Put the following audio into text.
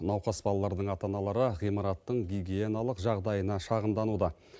науқас балалардың ата аналары ғимараттың гигиеналық жағдайына шағымдануда